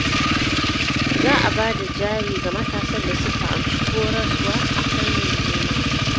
Za a ba da jari ga matasan da suka amshi horaswa a fannin noma